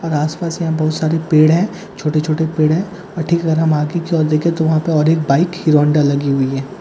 और आस-पास यहां बहुत सारे पेड़ है छोटे-छोटे पेड़ है और ठीक अगर हम आगे की ओर देखे तो वहां पे और एक बाइक हीरों होन्‍डा लगी हुई है ।